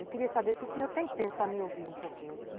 Eu queria saber se o senhor tem tempo para me ouvir um pouquinho.